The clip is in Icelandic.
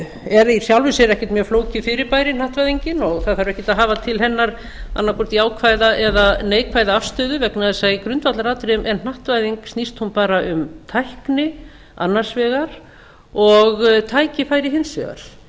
er í sjálfu sér ekkert mjög flókið fyrirbæri hnattvæðingin og það þarf ekkert að hafa til hennar annað hvort jákvæða eða neikvæða afstöðu vegna þess að í grundvallaratriðum snýst hún bara um tækni annars vegar og tækifæri hins vegar